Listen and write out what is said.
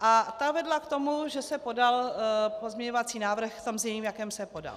a ta vedla k tomu, že se podal pozměňovací návrh v tom znění, v jakém se podal.